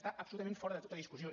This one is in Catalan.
està absolutament fora de tota discussió